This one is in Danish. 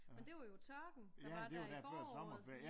Men det var jo tørken der var der i foråret